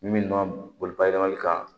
Min nɔ boli bayɛlɛmali kan